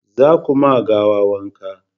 za ku ma gawa wanka!